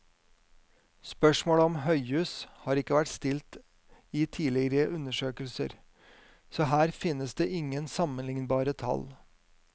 Spørsmålet om høyhus har ikke vært stilt i tidligere undersøkelser, så her finnes det ingen sammenlignbare tall.